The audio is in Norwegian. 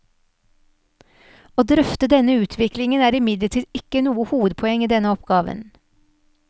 Å drøfte denne utviklingen er imidlertid ikke noe hovedpoeng i denne oppgaven.